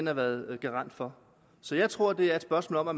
har været garant for så jeg tror det er et spørgsmål om at